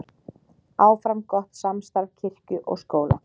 Áfram gott samstarf kirkju og skóla